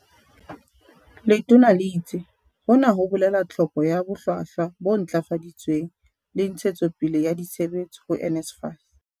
Letona le itse, "Hona ho bolela tlhoko ya bohlwahlwa bo ntlafaditsweng le ntshe tsopele ya ditshebetso ho NSFAS."